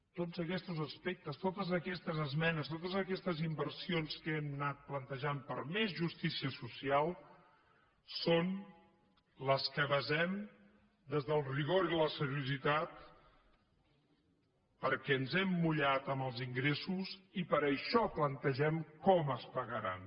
tots aquestos aspectes totes aquestes esmenes totes aquestes inversions que hem anat plantejant per a més justícia social són les que basem des del rigor i la seriositat perquè ens hem mullat amb els ingressos i per això plantegem com es pagaran